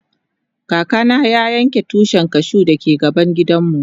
Kaka na ya yanka Tushin cashew da ke gaban gidan mu.